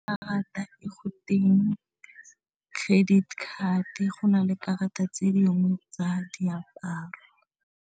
Karata e go teng credit card-e go na le karata tse dingwe tsa diaparo.